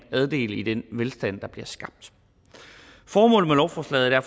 andel i den velstand der bliver skabt formålet med lovforslaget er